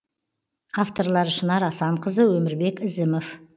авторлары шынар асанқызы өмірбек ізімов